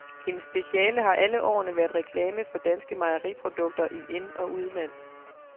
Hendes speciale har alle årene været reklame for danske mejeriprodukter i ind- og udland.